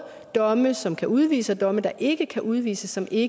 domme som kan udvise og domme der ikke kan udvise som ikke